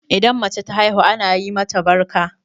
Idan mace ta haihu ana yi mata barka?